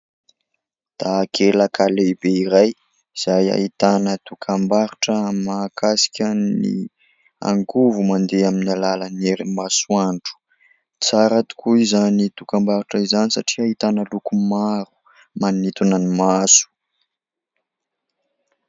Takelaka lehibe iray izay ahitana dokam-barotra mahakasika ny angovo mandeha amin'ny alalan'ny herin'ny masoandro ; tsara tokoa izany dokam-barotra izany satria ahitana loko maro manintona ny maso.